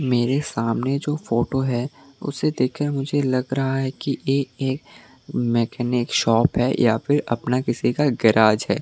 मेरे सामने जो फोटो है उसे देखकर मुझे लग रहा है कि एक मैकेनिक शॉप है या फिर अपना किसी का गैराज है।